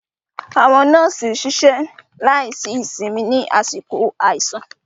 Àwọn nọ́ọ̀sì ṣiṣẹ́ láìsí ìsinmi ní àsìkò àìsàn.